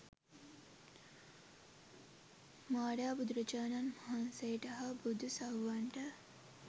මාරයා බුදුරජාණන් වහන්සේට හා බුදු සව්වන්ට